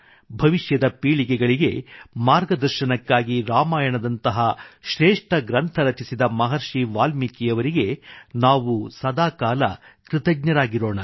ಭವಿಷ್ಯದ ಪೀಳಿಗೆಗಳಿಗೆ ಮಾರ್ಗದರ್ಶನಕ್ಕಾಗಿ ರಾಮಾಯಣದಂತಹ ಶ್ರೇಷ್ಠ ಗ್ರಂಥ ರಚಿಸಿದ ಮಹರ್ಷಿ ವಾಲ್ಮೀಕಿಯವರಿಗೆ ನಾವು ಸದಾಕಾಲ ಕೃತಜ್ಞರಾಗಿರೋಣ